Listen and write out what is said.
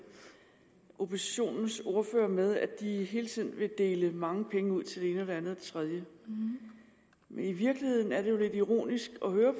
oppositionens ordførere med at de hele tiden vil dele mange penge ud til det ene det andet og det tredje men i virkeligheden er det jo lidt ironisk at høre